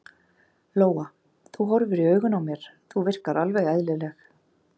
Lóa: Þú horfir í augun á mér, þú virkar alveg eðlileg?